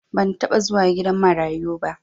ban taba zuwa gidan marayuba